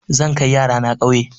Zan kai yara na ƙauye.